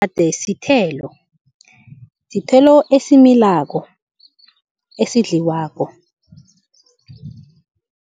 Umgade sithelo, sithelo esimilako esidliwako.